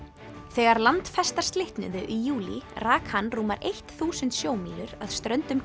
þegar landfestar slitnuðu í júlí rak hann rúmar eitt þúsund sjómílur að ströndum